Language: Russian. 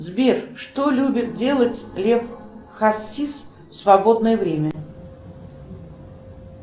сбер что любит делать лев хасис в свободное время